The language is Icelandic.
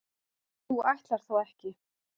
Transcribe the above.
þú ætlar þó ekki.